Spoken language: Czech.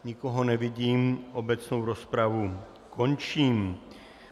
Nikoho nevidím, obecnou rozpravu končím.